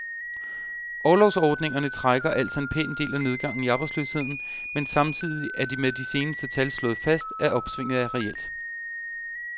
Orlovsordningerne trækker altså en pæn del af nedgangen i arbejdsløsheden, men samtidig er det med de seneste tal slået fast, at opsvinget er reelt.